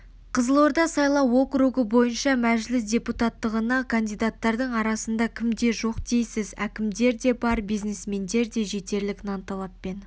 қызылорда сайлау округі бойынша мәжіліс депутаттығына кандидаттардың арасында кімдер жоқ дейсіз әкімдер де бар бизнесмендер де жетерлік нанталаппен